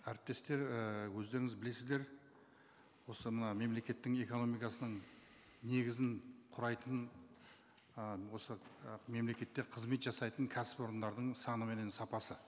әріптестер ііі өздеріңіз білесіздер осы мына мемлекеттің экономикасының негізін құрайтын ы осы ы мемлекетте қызмет жасайтын кәсіпорындардың саны менен сапасы